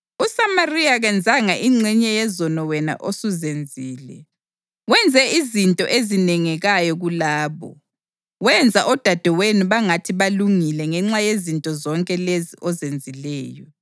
USamariya kenzanga ingxenye yezono wena osuzenzile. Wenze izinto ezinengekayo kulabo, wenza odadewenu bangathi balungile ngenxa yezinto zonke lezi ozenzileyo.